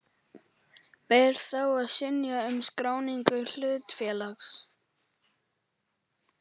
Ber þá að synja um skráningu hlutafélags.